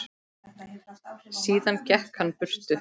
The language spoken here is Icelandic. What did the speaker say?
Síðan gekk hann burtu.